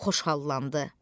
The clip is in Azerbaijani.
xoşhallandı.